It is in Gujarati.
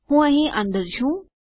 હું અહીં અંદર છું